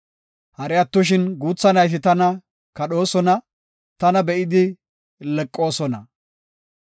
Hari attoshin guutha nayti tana kadhoosona; tana be7idi leqoosona.